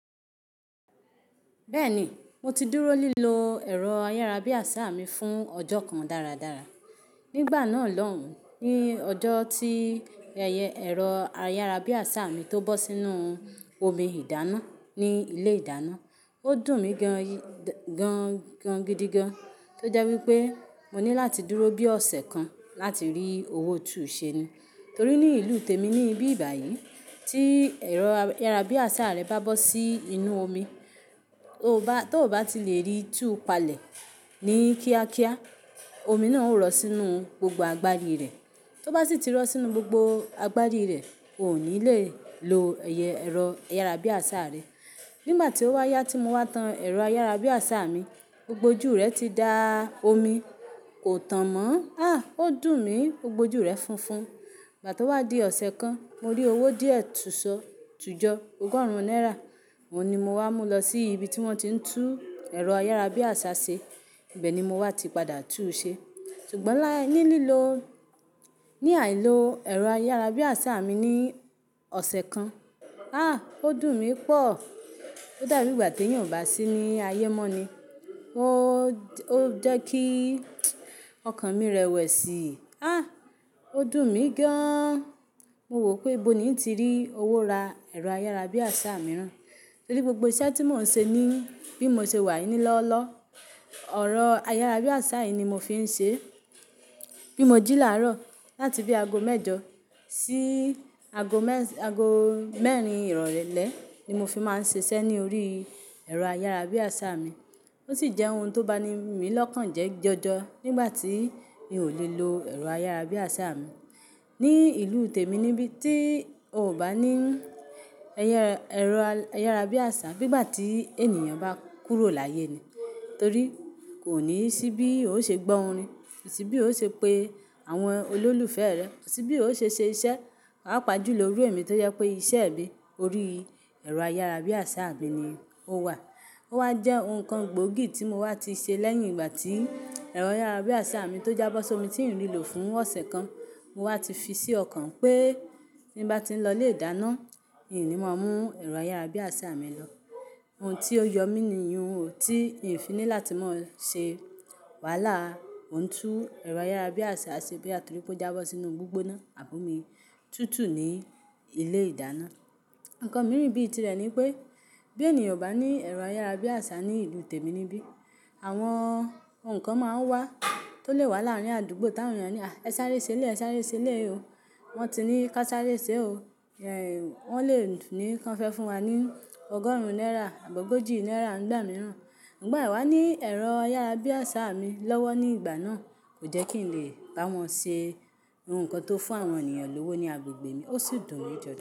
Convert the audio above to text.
Bẹ́ẹ̀ni, mo ti dúró lílo ẹ̀rọ ayárabíàṣá mi fún ọjọ́ kan dáradára. Nígbà náà lóhùn, ní ọjọ́ tí ẹ̀rọ ayárabíàṣá mi tó bọ́ sínú omi ìdáná ní ilé ìdáná, ó dùn mí gan gan gidigan. Tó jẹ́ wípé mo ní láti dúró bí ọ̀sẹ̀ kan láti rí owó tuúsẹ ni. Torí ní ìlú tèmi níbí ìbà yìí, tí ẹ̀rọ ayárabíàṣá rẹ bá bọ́ sí inú omi, tó bá ti le rí tuú palẹ̀ ní kíákíá, omi náà ó rọ́ sínú gbogbo agbárí rẹ̀. Tó bá sì ti rọ́ sínú gbogbo agbárí rẹ̀, ò ní le lo ẹ̀rọ ayárabíàṣa rẹ. Nígbà tí ó wá yá tí mo wá tan ẹ̀rọ ayárabíàṣá mi, gbogbo ojú rẹ̀ ti da omi, kò tàn mọ́n. À! Ó dùn mí, gbogbo ojú rẹ̀ funfun. Ìgbà tó wá di ọ̀sẹ̀ kan, mo rí owó díẹ̀ tuso tùjọ ogórùn náírà. Ó ní mo wá mú lọ sí ibi tí wón ti ń tú ẹ̀rọ ayárabíàṣá ṣe. Bẹ́ẹ̀ ni mo wá ti padà tú u ṣe. Sugbọn láí nílilò, ní àìló ẹ̀rọ ayárabíàṣá mi ní ọ̀sẹ̀ kan, á! Ó dùn mí pọ̀. Ó dà bí ìgbà tí èèyàn ò bá sí ní ayé mọ́ ni o Ó jẹ́ kí ọkàn mi rẹwẹ̀sì. Á! Ó dùn mí gan an. Mo wò pé bó ni ń ti rí owó ra ẹ̀rọ ayárabíàṣá mìíràn. Torí gbogbo iṣẹ́ tí mò ń ṣe ní bí mo ṣe wà ní lọ́ọ́lọ́ọ́, ọ̀rọ̀ ayárabíàṣá yìí ni mo fi ń ṣe. Bí mo jí làárọ̀ láti bí aago mẹ́jọ sí aago mẹ́rin irọlẹ́ ni mo fi máa ń ṣe iṣẹ́ ní orí ẹ̀rọ ayárabíàṣá mi. Ó sì jẹ́ ohun tó ba ni mí lọ́kàn jẹ́ jọjọ nígbà tí mi ò le lo ẹ̀rọ ayárabíàṣá mi. Ní ìlú tèmi níbí tí o ò bá ní ẹ̀rọ ayárabíàṣá, bí ìgbà tí ènìyàn bá kúrò láyé ni. Torí kò ní sí bí yóò ṣe gbọ́ orin, sì bí yóò ṣe pe àwọn olólùfẹ́ rẹ, sì bí yóò ṣe ṣe iṣẹ́. Pàá pàjùlọ lórí ẹ̀mí tó jẹ́ pé iṣẹ́ ẹbí orí ẹ̀rọ ayárabíàṣá, mí ní o wà. Ó wá jẹ́ ohun kan gbòógì tí mo wá ti ṣe lẹ́yìn ìgbà tí ẹ̀rọ ayárabíàṣá mi tó jábọ́ sómi tí ń rí lò fún ọ̀sẹ̀ kan. Mo wá ti fi sí ọkàn pé ní bá ti ń lọ ilé ìdáná, í ni màá mú ẹ̀rọ ayárabíàṣá mi lọ. Ohun tí ó yọ mí ni ìyuù o tí n fi ní láti máa ṣe. Wàhálà á, mò ń tún ẹ̀rọ ayárabíàṣá ṣe bóyá torí pé ó jábọ́ sínú gbígbóná abọ́mi tútù ní ilé ìdáná. Ǹkan mìíràn bí i tìrẹ ni pé, bí ènìyàn ò bá ní ẹ̀rọ ayárabíàṣá ní ìlú tèmi níbí, àwọn ohun kan máa ń wá tó lè wá láàrín àdúgbò táwọn èèyàn á ní, "À! Ẹ sáré ṣeléyi, ẹ sáré ṣeléyi o. Wọ́n ti ní ká sáré ṣe o." Wọ́n lè ní kí wọ́n fẹ́ fún wa ní ọgọ́rùn-ún náírà àbi ogójì náírà ńígbà mìíràn. Ṣùgbọ́n àì wá ní ẹ̀rọ ayárabíàṣá mi lọ́wọ́ ní ìgbà náà, kò jẹ́ kí n lè bá wọn ṣe ohun kan tó fún àwọn ènìyàn lówó ní agbègbè mi, ó sì dùn mí jọ.